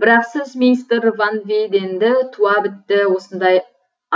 бірақ сіз мистер ван вейденді туа бітті осындай